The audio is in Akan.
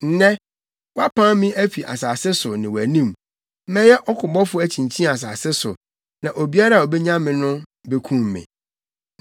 Nnɛ, woapam me afi asase so ne wʼanim. Mɛyɛ ɔkobɔfo akyinkyin asase so na obiara a obenya me no bekum me.”